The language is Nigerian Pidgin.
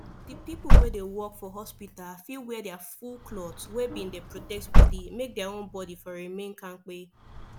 the people wey dey work for hospital fit wear their full cloth wey bin dey protect body make their own body for remain kampe